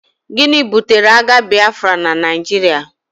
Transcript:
Gịnị butere agha Biafra na Naijiria?